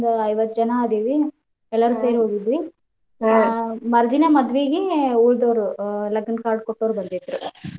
ಒಂದ್ ಐವತ್ತ್ ಜನ ಅದೇವಿ ಎಲ್ಲಾರು ಸೇರಿ ಹೋಗಿದ್ವಿ ಆ ಮರ್ದಿನಾ ಮದ್ವಿಗೆ ಉಳದವ್ರು ಲಗ್ನ card ಕೊಟ್ಟೋರ್ ಬಂದಿದ್ರ್.